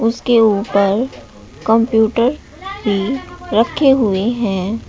उसके ऊपर कंप्यूटर भी रखे हुए है।